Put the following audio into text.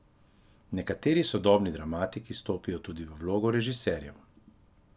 Nekateri sodobni dramatiki stopijo tudi v vloge režiserjev.